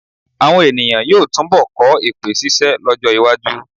Àwọn è̀nìyàn yóò túnbọ̀ kọ́ èpè ṣíṣẹ́ lọ́jọ́-iwájú.